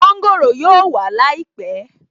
Mọ́ńgòrò yóò wà láìpẹ̀